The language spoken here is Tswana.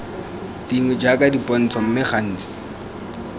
dingwe jaaka dipontsho mme gantsi